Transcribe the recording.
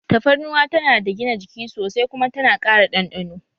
Tafarnuwa tana da gina jiki sosai kuma tana ƙara ɗanɗano